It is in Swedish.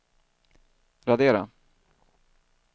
radera